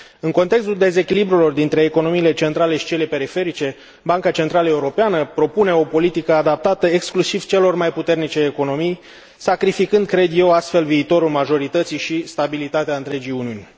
În contextul dezechilibrelor dintre economiile centrale și cele periferice, Banca Centrală Europeană propune o politică adaptată exclusiv celor mai puternice economii, sacrificând astfel, cred eu, viitorul majorității și stabilitatea întregii Uniuni.